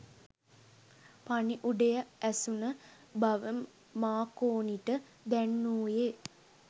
පණිවුඩය ඇසුන බව මාකෝනිට දැන්වූයේ